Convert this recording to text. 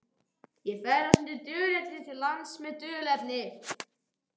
Ég ferðast undir dulnefni til lands með dulnefni.